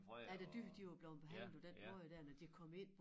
Ja de dyr de var blevet behandlet på den måde der når de var kommet ind